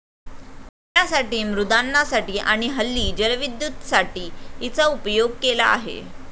पिण्यासाठी, मृद्यानांसाठी आणि हल्ली जलविद्दुतसाठी हिचा उपयोग केला आहे.